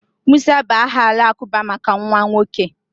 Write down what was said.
Musa bụ aha Alakụba maka nwa nwoke